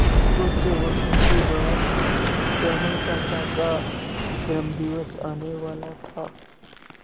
कुछ वक्त के बाद श्यामल काका का जन्मदिवस आने वाला था